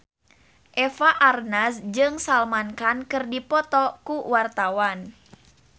Eva Arnaz jeung Salman Khan keur dipoto ku wartawan